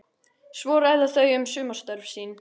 Svo ræða þau um sumarstörf sín.